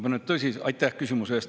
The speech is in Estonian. Aitäh küsimuse eest!